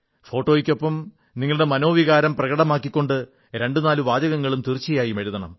ഫോട്ടോയ്ക്കൊപ്പം നിങ്ങളുടെ മനോവികാരം പ്രകടമാക്കിക്കൊണ്ട് രണ്ടു നാലു വാചകങ്ങളും തീർച്ചയായും എഴുതണം